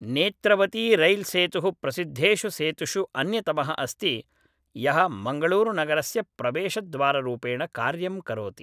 नेत्रवतीरैल्सेतुः प्रसिद्धेषु सेतुषु अन्यतमः अस्ति यः मङ्गळूरुनगरस्य प्रवेशद्वाररूपेण कार्यं करोति